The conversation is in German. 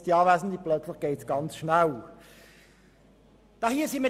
In diesem Bereich geht es um sehr viel Geld.